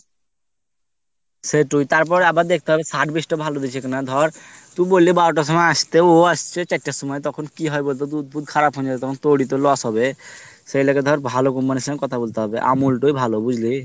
সেতুই আবার দেখতে হবে service টা ভালো দিচ্ছে কি না ধর তুই বল্লি বারোটার সময় আস্তে ও আসছে চারটের সময় তখন কি হয় বলতো দুধ ফুদ খারাপ হয়েই যাবে তখন তো তোরেই loss হবে সেই লেগে ধর ভালো company এরসাথে কোথা বলতে হবে আমূল টাই ভালো বুঝলি